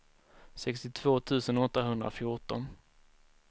sextiotvå tusen åttahundrafjorton